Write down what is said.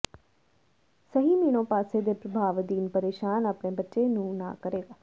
ਸਹੀ ਮਿਣੋ ਪਾਸੇ ਦੇ ਪ੍ਰਭਾਵ ਅਧੀਨ ਪਰੇਸ਼ਾਨ ਆਪਣੇ ਬੱਚੇ ਨੂੰ ਨਾ ਕਰੇਗਾ